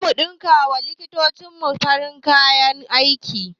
Zamu ɗinka wa likitocin mu farin kayan aiki